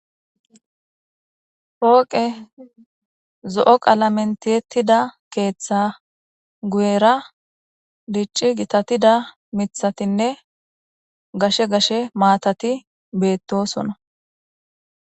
Hooqe zo7o qaalamentietida keeththa guera dicci gitatida mithatinne gashe gashe maatati beettosona